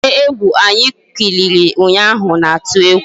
Ejije egwu anyị kiliri ụnyaahụ na-atụ egwu